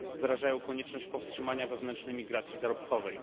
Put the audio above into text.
Wyrażają konieczność powstrzymania wewnętrznej migracji zarobkowej.